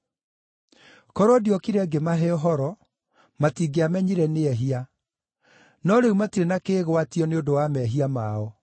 “Korwo ndiokire ngĩmahe ũhoro, matingĩamenyire nĩ ehia. No rĩu matirĩ na kĩĩgwatio nĩ ũndũ wa mehia mao.